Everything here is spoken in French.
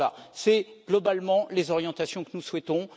Voilà globalement les orientations que nous souhaitons.